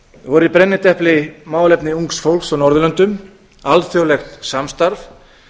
voru í brennidepli málefni ungs fólks á norðurlöndum alþjóðlegt samstarf